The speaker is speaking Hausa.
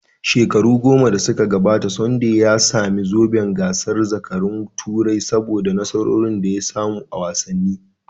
Shekaru goma da suka gabata, Sunday ya sami zoben gasar zakarun Turai saboda nasarorin da ya samu a wasanni.